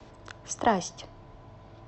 страсть